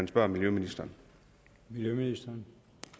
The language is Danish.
spørge miljøministeren miljøministeren